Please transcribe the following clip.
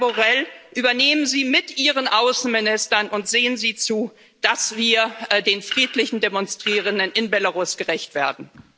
Herr Borrell, übernehmen Sie mit ihren Außenministern und sehen Sie zu, dass wir den friedlichen Demonstrierenden in Belarus gerecht werden.